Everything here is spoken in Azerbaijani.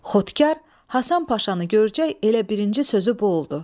Xotkar Həsən Paşanı görcək elə birinci sözü bu oldu.